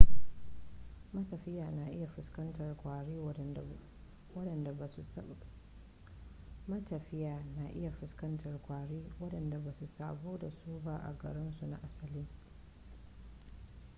matafiya na iya fuskantar kwari wadanda basu saba dasu ba a garin su na asali